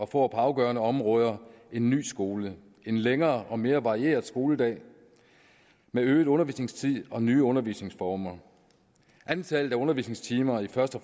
på afgørende områder en ny skole en længere og mere varieret skoledag med øget undervisningstid og nye undervisningsformer antallet af undervisningstimer i først og